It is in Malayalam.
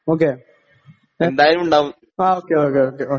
ഓക്കേ എന്തായാലും ഉണ്ടാവും